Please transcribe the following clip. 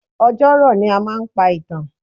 Ọjọ́ rọ̀ ni a máa ń pa ìtàn.